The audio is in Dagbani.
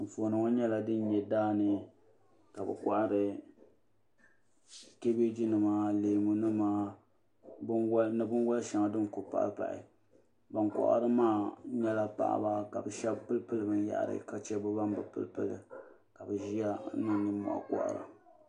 Anfooni ŋɔ nyɛla dini nyɛ daani ka bi kɔhiri kabieji nima leemu ni bini soli shɛŋa dini ku pahi pahi bini kɔhiri maa shɛba nyɛla paɣaba ka shɛba pili pili bini yahari ka chɛ bi bani bi pili pili ka bi ziya n niŋ ninmɔhi kɔhiri a.